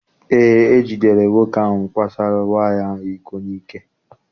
Eé, e jidere nwoke ahụ kwasoro nwaanyị ahụ iko n'ike.